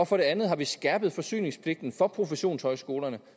for det andet har vi skærpet forsyningspligten for professionshøjskolerne